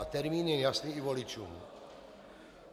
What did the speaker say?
A termín je jasný i voličům.